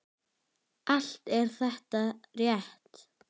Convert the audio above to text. Allt er þetta rétt.